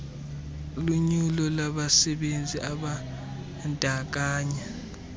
lunyulo labasebenzi ababandakanya